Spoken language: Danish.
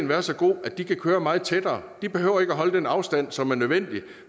være så god at de kan køre meget tættere de behøver ikke holde den afstand som er nødvendig